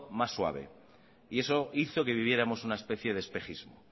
más suave y eso hizo que viviéramos una especie de espejismo